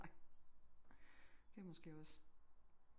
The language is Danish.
Det er måske også